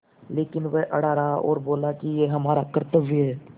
लेकिन वह अड़ा रहा और बोला कि यह हमारा कर्त्तव्य है